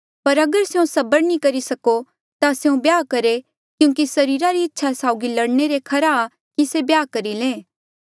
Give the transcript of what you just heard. पर अगर स्यों सबर नी करी सको ता स्यों ब्याह करहे क्यूंकि सरीरा री इच्छा साउगी लड़ने ले खरा कि ब्याह करी ले